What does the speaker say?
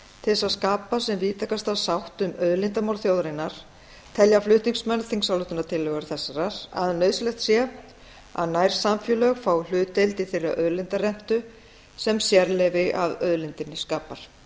til þess að skapa sem víðtækasta sátt um auðlindamál þjóðarinnar telja flutningsmenn þingsályktunartillögu þessarar að nauðsynlegt sé að nærsamfélög fái hlutdeild í þeirri auðlindarentu sem sérleyfi að auðlindinni skapar